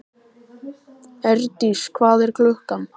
Eirdís, hvað er klukkan?